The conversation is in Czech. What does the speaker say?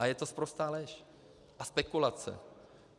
A je to sprostá lež a spekulace.